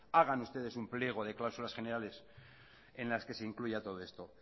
hagan ustedes un pliego de cláusulas generales en las que se incluya todo esto